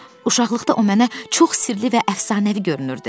Uşaqlıqda o mənə çox sirli və əfsanəvi görünürdü.